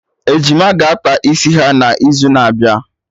Ejima ga-akpa isi ha na izu n'abịa